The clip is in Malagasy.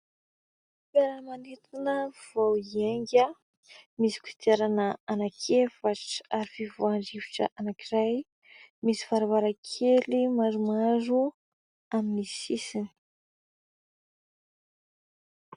Fiaramanidina vao hiainga. Misy kodiarana anaky efatra ary fivoahan-drivotra anankiray ; misy varavarankely maromaro amin'ny sisiny.